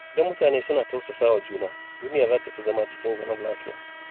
Idan mutane suna tausasa wa juna, duniya za ta fi zama cikin zaman lafiya.